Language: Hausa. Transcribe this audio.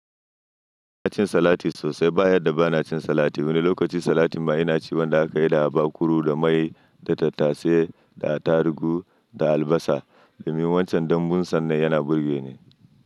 Ba na cin salati sosai ba, yadda ba na cin salati. Wani lokaci salatin ma ina ci wanda aka yi da habakuru, da mai, da tattasai, da atarugu, da albasa. Domin wancan, dambun sannan yana burge ni.